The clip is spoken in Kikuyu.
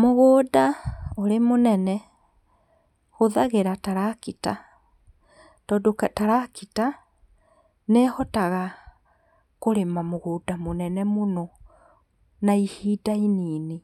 Mũgũnda ũrĩ mũnene hũthagĩra tarakita, tondũ tarakita, nĩhotaga kũrĩma mũgũnda mũnene mũno, na ihinda inini